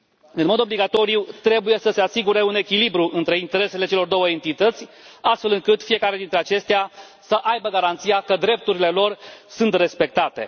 În mod obligatoriu trebuie să se asigure un echilibru între interesele celor două entități, astfel încât fiecare dintre acestea să aibă garanția că drepturile lor sunt respectate.